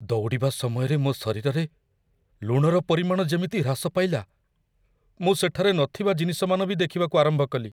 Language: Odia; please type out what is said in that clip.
ଦୌଡ଼ିବା ସମୟରେ ମୋ ଶରୀରରେ ଲୁଣର ପରିମାଣ ଯେମିତି ହ୍ରାସ ପାଇଲା, ମୁଁ ସେଠାରେ ନଥିବା ଜିନିଷମାନ ବି ଦେଖିବାକୁ ଆରମ୍ଭ କଲି!